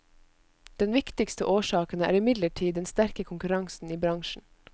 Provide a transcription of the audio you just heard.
Den viktigste årsaken er imidlertid den sterke konkurransen i bransjen.